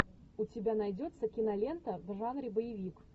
у тебя найдется кинолента в жанре боевик